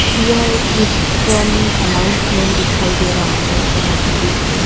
यह एक किस्चन अनाउंसमेंट दिखाई दे रहा है जहां पर एक--